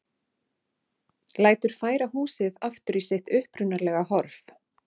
Lætur færa húsið aftur í sitt upprunalega horf.